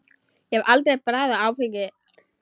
Ég hef aldrei bragðað áfengi.